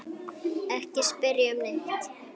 Ekki spyrja um neitt.